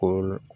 Ko